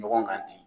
Ɲɔgɔn kan ten